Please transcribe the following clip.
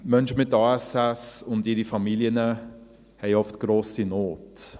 Menschen mit ASS und ihre Familien haben oft grosse Not.